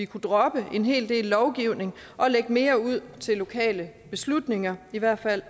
kunne droppe en hel del lovgivning og lægge mere ud til lokale beslutninger i hvert fald